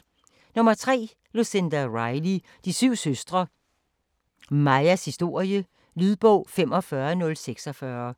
3. Riley, Lucinda: De syv søstre: Maias historie Lydbog 45046